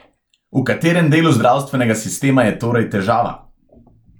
V katerem delu zdravstvenega sistema je torej težava?